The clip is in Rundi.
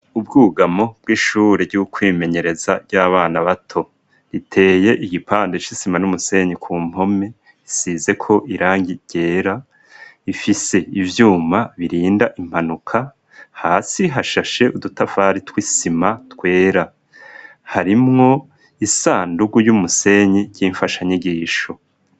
Ubwugamo bw'ishure bwokwimenyereza ry'abana bato riteye igipande c'isima n'umusenyi ku mpome isize ko irangi ryera ifise ivyuma birinda impanuka hasi hashashe udutavari twisima twera harimwo isandugu ry'umusenyi ry'imfasha nyigisho.